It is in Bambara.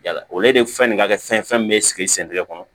Yala o de fɛn nin ka kɛ fɛn min bɛ sigi sen kɔnɔ